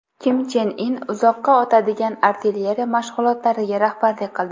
Kim Chen In uzoqqa otadigan artilleriya mashg‘ulotlariga rahbarlik qildi.